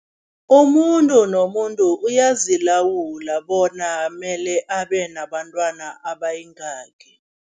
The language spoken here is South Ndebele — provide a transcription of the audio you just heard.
Umuntu nomuntu uyazilawula bona mele nabantwana abayingaki.